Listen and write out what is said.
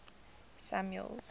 samuel's